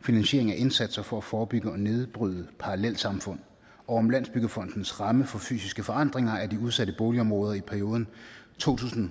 finansieringen af indsatser for at forebygge og nedbryde parallelsamfund og om landsbyggefondens ramme for fysiske forandringer af de udsatte boligområder i perioden to tusind